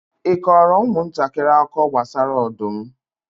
ị kọọrọ ụmụntakịrị akụkọ gbasara ọdụm?